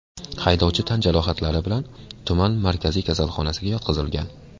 Haydovchi tan jarohatlari bilan tuman markaziy kasalxonasiga yotqizilgan.